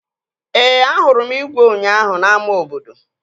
Ee, ahụrụ m igwe ụnyaahụ n'ámá obodo